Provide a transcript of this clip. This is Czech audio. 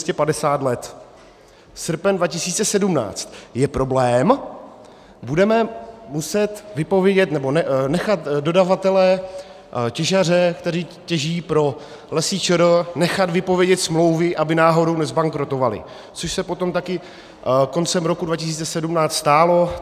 Srpen 2017 - je problém, budeme muset vypovědět, nebo nechat dodavatele, těžaře, kteří těží pro Lesy ČR, nechat vypovědět smlouvy, aby náhodou nezbankrotovali, což se potom taky koncem roku 2017 stalo.